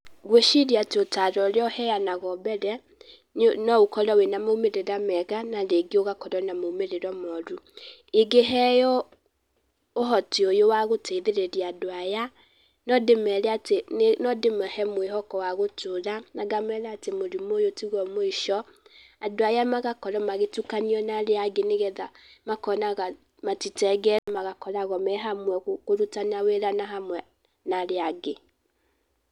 Ngwĩciria atĩ ũtaaro ũrĩa ũheanagwo mbere, no ũkorwo wĩna maumĩrĩra mega na rĩngĩ ũgakorwo na maumĩrĩra moru. Ingĩheo ũhoti ũyũ wa gũteithĩrĩria andũ aya, no ndĩmere atĩ, no dĩmahe mwĩhoko wa gũtũũra na ngamera atĩ mũrimũ ũyũ tiguo mũico, andũ aya magakorwo magĩtukanio na arĩa angĩ nĩgetha makonaga matitengetwo, magakorwo me hamwe kũrutana wĩra na hamwe na arĩa angĩ.